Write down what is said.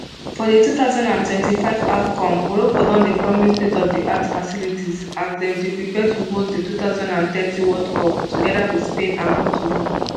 for di two thousand and twenty-five afcon morocco don dey promise state of d art facilities as dem dey prepare to host di two thousand and thirty world cup togeda wit spain and portugal.